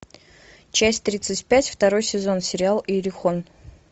часть тридцать пять второй сезон сериал иерихон